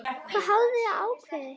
Hvað hafið þið ákveðið?